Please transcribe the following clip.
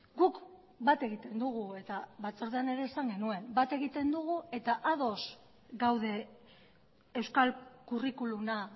guk bat egiten dugu eta batzordean ere esan genuen bat egiten dugu eta ados gaude euskal curriculuma